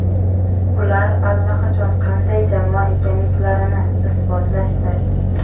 Ular allaqachon qanday jamoa ekanliklarini ibotlashdi.